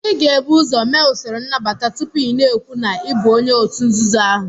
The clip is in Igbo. Ị ga-ebu ụzọ mee usoro nnabata tupu ị na-ekwu na ị bụ onye òtù nzuzo ahụ